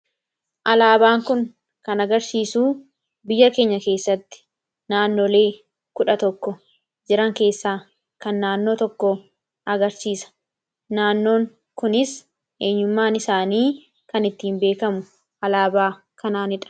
Alaabaan kun kan agarsiisuu biyya keenya keessatti naannolee kudha tokko jiran keessaa kan naannoo tokko agarsiisa naannoon kunis eenyummaan isaanii kan ittiin beekamu alaabaa kanaanidha.